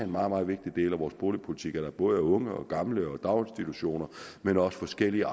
meget vigtig del af vores boligpolitik at der både er unge og gamle og daginstitutioner men også forskellige